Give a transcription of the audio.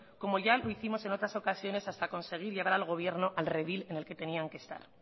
como ya lo hicimos en otras ocasiones hasta conseguir llevar al gobierno al redil en el que tenían que estar